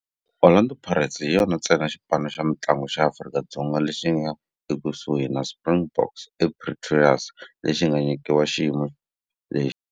Orlando Pirates hi yona ntsena xipano xa mintlangu xa Afrika-Dzonga lexi nga ekusuhi na Springboks eProteas lexi nga nyikiwa xiyimo lexi.